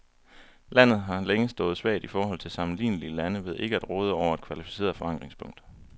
Landet har længe stået svagt i forhold til sammenlignelige lande ved ikke at råde over et kvalificeret forankringspunkt.